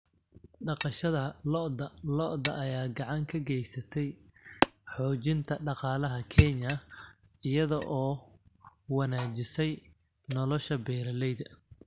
Dhaqashada lo'da lo'da ayaa gacan ka geysatay xoojinta dhaqaalaha Kenya iyada oo wanaajisay nolosha beeralayda .